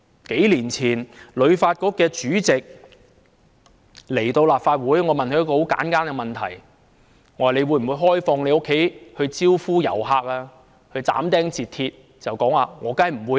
數年前，香港旅遊發展局主席來到立法會，我問了他一個很簡單的問題。我問他會否開放他的家招呼遊客？他斬釘截鐵地說"當然不會"。